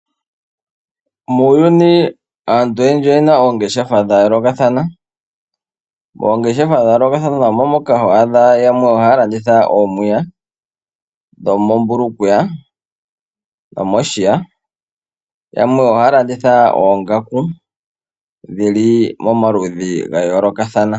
Muuyuni aantu oyendji oyena oongeshefa dhayoolokathana. Moongeshefa moka hoadha oomwiya dhomombulukweya dhomoshiya. Yamwe ohaya landitha oongaku dhili momaludhi gayoolokathana.